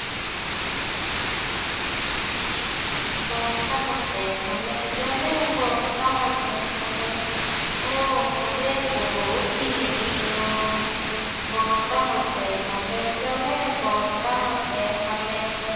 বতাহতে হালে জালে, বতাহতে হালে। অ' মোৰে পখিলী অ। বতাহতে হালে জালে, বতাহতে হালে।